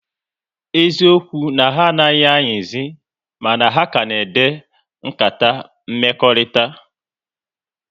Eziokwu na ha anaghị ayizi, mana ha ka na-ede nkata mmekọrịta